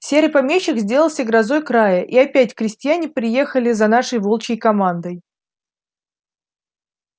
серый помещик сделался грозой края и опять крестьяне приехали за нашей волчьей командой